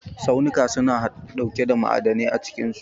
Tsaunuka suna ɗauke da ma'adai a cikinsu.